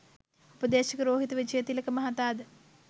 උපදේශක රෝහිත විජයතිලක මහතා ද